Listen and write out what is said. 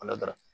Ala barika